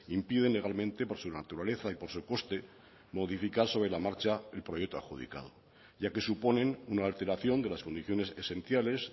impiden legalmente por su naturaleza y por su coste modificar sobre la marcha el proyecto adjudicado ya que suponen una alteración de las condiciones esenciales